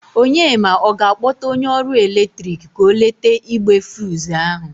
Onyema, ọ ga-akpọta onye ọrụ eletrik ka o lete igbe fuz ahụ?